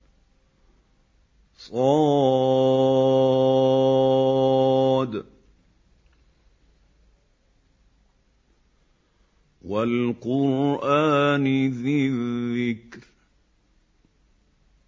ص ۚ وَالْقُرْآنِ ذِي الذِّكْرِ